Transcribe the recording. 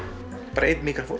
bara einn míkrafónn